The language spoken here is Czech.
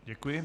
Děkuji.